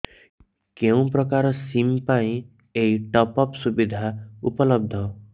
କେଉଁ ପ୍ରକାର ସିମ୍ ପାଇଁ ଏଇ ଟପ୍ଅପ୍ ସୁବିଧା ଉପଲବ୍ଧ